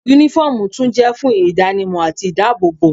Únífọ́ọ̀mù tún jẹ́ fún ìdánimọ̀ àti ìdábòòbò